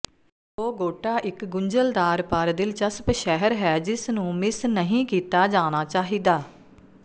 Bogota ਇਕ ਗੁੰਝਲਦਾਰ ਪਰ ਦਿਲਚਸਪ ਸ਼ਹਿਰ ਹੈ ਜਿਸ ਨੂੰ ਮਿਸ ਨਹੀਂ ਕੀਤਾ ਜਾਣਾ ਚਾਹੀਦਾ